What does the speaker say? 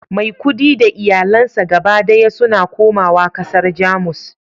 maikudi da iyalansa gaba daya suna komawa kasar Jamus